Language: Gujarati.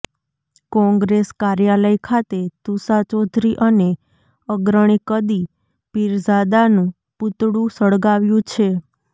કોંગ્રેસ કાર્યાલય ખાતે તુષા ચૌધરી અને અગ્રણી કદી પીરઝાદાનું પૂતળુ સળગાવ્યુ છે